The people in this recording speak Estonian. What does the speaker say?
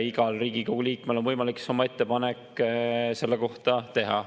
Igal Riigikogu liikmel on võimalik oma ettepanek selle kohta teha.